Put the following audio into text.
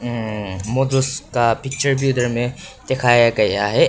Picture भी उधर में दिखाया गया है।